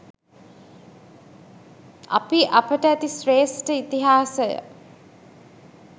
අපි අපට ඇති ශ්‍රේෂ්ට ඉතිහාසය